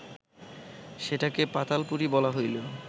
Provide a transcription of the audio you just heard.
সেটাকে পাতালপুরী বলা হইল